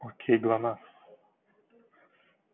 окей глонассс